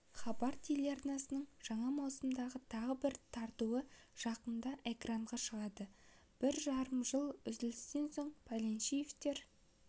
хабар телеарнасының жаңа маусымдағы тағы бір тартуы жақында экранға шығады бір жарым жыл үзілістен соң пәленшеевтер